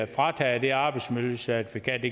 frataget det arbejdsmiljøcertifikat